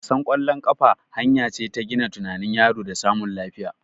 Wasan ƙwallon kafa hanya ce ta gina tunanin yaro da samun lafiya